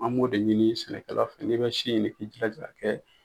An b'o de ɲini sɛnɛkala fɛ n'i bɛ si ɲini i jilaja a ka kɛ